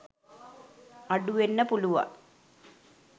අඩු වෙන්න පුළුවන්